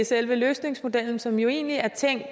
selve løsningsmodellen som jo egentlig er tænkt